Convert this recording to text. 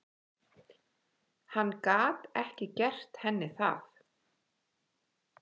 Magnús Hlynur Hreiðarsson: Hvernig datt ykkur þetta í hug?